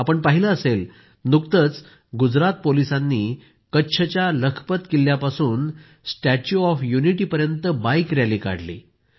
आपण पाहिलं असेल नुकतंच गुजरात पोलिसांनी कच्छच्या लखपत किल्ल्यापासून स्टॅच्यु ऑफ युनिटीपर्यंत बाईक रॅली काढली